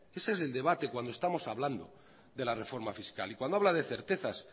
ese es el debate cuando estamos hablando de la reforma fiscal y cuando habla de certezas